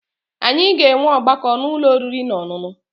Anyị ga-enwe ọgbakọ n'ụlọ oriri na ọṅụṅụ